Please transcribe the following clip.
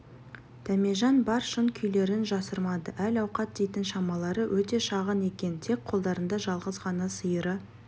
дәмежан бар шын күйлерін жасырмады әл-ауқат дейтін шамалары өте шағын екен тек қолдарында жалғыз ғана сиыры